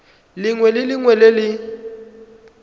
lengwe le lengwe le le